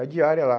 É a diária lá.